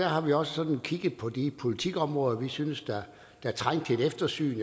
har vi også sådan kigget på de politikområder vi synes der trænger til et eftersyn